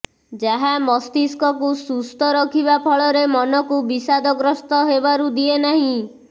ଯାହା ମସ୍ତିଷ୍କକୁ ସୁସ୍ଥ ରଖିବା ଫଳରେ ମନକୁ ବିଷାଦଗ୍ରସ୍ତ ହେବାରୁ ଦିଏନାହିଁ